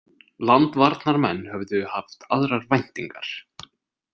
Landvarnarmenn höfðu haft aðrar væntingar.